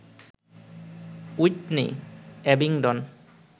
Whitney, Abingdon